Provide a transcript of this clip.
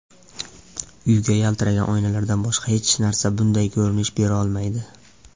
Uyga yaltiragan oynalardan boshqa hech narsa bunday ko‘rinish berolmaydi.